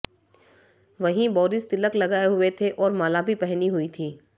वहीं बोरिस तिलक लगाए हुए थे और माला भी पहनी हुई थी